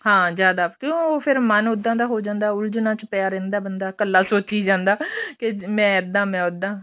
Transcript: ਹਾਂ ਜ਼ਿਆਦਾ ਕਿਉਂ ਫੇਰ ਮਨ ਉਦਾਂ ਦਾ ਹੋ ਜਾਂਦਾ ਉੱਲਝਣਾ ਚ ਪਿਆ ਰਹਿੰਦਾ ਬੰਦਾ ਕੱਲਾ ਸੋਚੀ ਜਾਂਦਾ ਕੇ ਮੈਂ ਇੱਦਾਂ ਮੈਂ ਉਦਾਂ